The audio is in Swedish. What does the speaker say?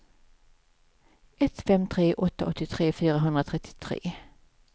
ett fem tre åtta åttiotre fyrahundratrettiotre